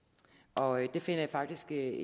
og jeg finder faktisk det er